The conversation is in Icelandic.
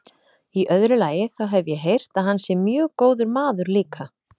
Í öðru lagi, þá hef ég heyrt að hann sé mjög góður maður líka.